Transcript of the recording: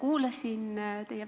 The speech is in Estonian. Lugupeetud ettekandja!